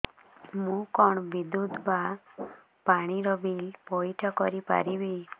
ମୁ କଣ ବିଦ୍ୟୁତ ବା ପାଣି ର ବିଲ ପଇଠ କରି ପାରିବି